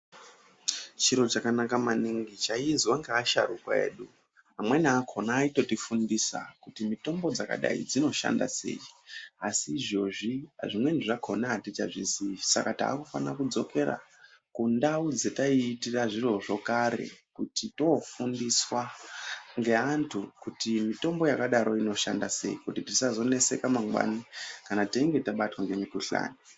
Chiro chakanaka maningi chaiizwa ngeasharukwa edu, amweni akhona aitotifundisa kuti mitombo dzaakadai dzinoshanda sei? Asi zvinezvi zvimweni zvakhona atichazvizii, saka taakufanira kupetuka kundau dzetaiitira zvirozvo kudhaya kuti toofundiswa ngeanthu kuti mitombo yakadaroyo inoshanda sei. Kuti tisazoneseka mangwani kana teinge tabatwa ngemukhuhlana.